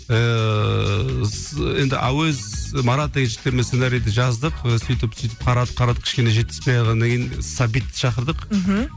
ііі енді әуез марат деген жігіттермен сценариді жаздық сөйтіп сөйтіп қарап қарап кішкене жетіспей қалғаннан кейін сәбитті шақырдық мхм